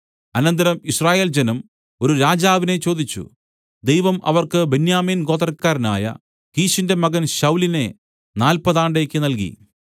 അനന്തരം യിസ്രയേൽ ജനം ഒരു രാജാവിനെ ചോദിച്ചു ദൈവം അവർക്ക് ബെന്യാമിൻ ഗോത്രക്കാരനായ കീശിന്റെ മകൻ ശൌലിനെ നാല്പതാണ്ടേക്ക് നൽകി